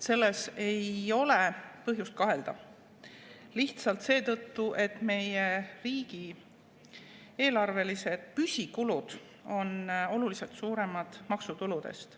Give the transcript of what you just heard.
Selles ei ole põhjust kahelda lihtsalt seetõttu, et meie riigieelarvelised püsikulud on oluliselt suuremad maksutuludest.